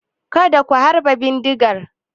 Kada ku harbe bindigar!